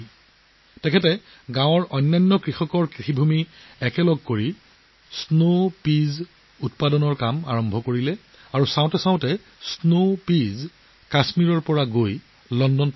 তেওঁ গাঁওখনৰ আন কৃষকৰ মাটি একেলগ কৰি স্নো পীচৰ খেতি কৰা কাম আৰম্ভ কৰিছিল আৰু দেখাৰ লগে লগে ই স্নো পীচ কাশ্মীৰৰ পৰা লণ্ডনত উপনীত হ'ল